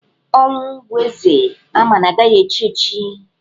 Ọnwụ bụ eze ama na-aga echi echi.